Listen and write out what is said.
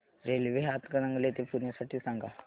railway Hatkanangale ते पुणे साठी सांगा